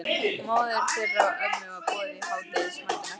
Móður þeirra og ömmu var boðið í hádegismatinn á eftir.